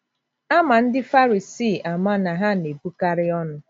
A ma ndị Farisii ama na ha na - ebukarị ọnụ.